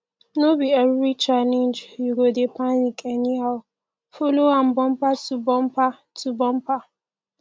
no bi evri challenge yu go dey panic anyhow follow am bumper to bumper to bumper